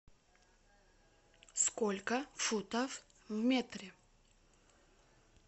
сколько футов в метре